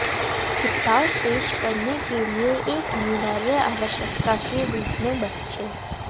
किताब पेश करने के लिए एक अनिवार्य आवश्यकता के रूप में बच्चे